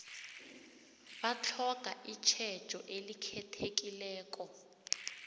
batlhoga itjhejo elikhethekileko